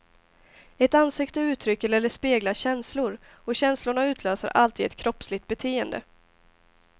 Ett ansikte uttrycker eller speglar känslor, och känslorna utlöser alltid ett kroppsligt beteende.